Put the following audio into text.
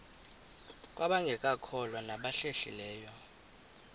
kwabangekakholwa nabahlehli leyo